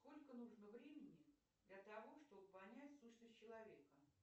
сколько нужно времени для того чтобы понять сущность человека